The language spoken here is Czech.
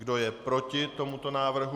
Kdo je proti tomuto návrhu?